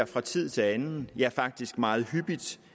fra tid til anden ja faktisk meget hyppigt ser